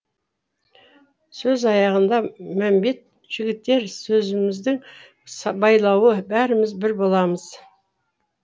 сөз аяғында мәмбет жігіттер сөзіміздің байлауы бәріміз бір боламыз